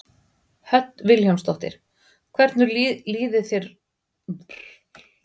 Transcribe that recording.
Hödd Vilhjálmsdóttir: Hvernig líður þér uppi á sviði með þeim?